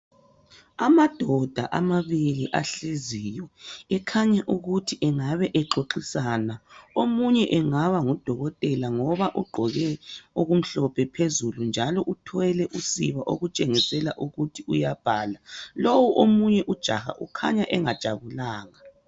Amadoda amabili ahleziyo , ekhanya ukuthi engabe exoxisana , omunye engaba ngudokotela ngoba ugqoke okumhlophe phezulu njalo uthwele usiba okutshengisela ukuthi uyabhala lowu omunye ujaha ukhanya engajabulanga